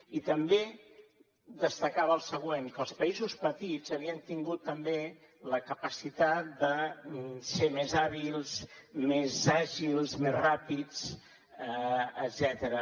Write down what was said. i també destacava el següent que els països petits havien tingut també la capacitat de ser més hàbils més àgils més ràpids etcètera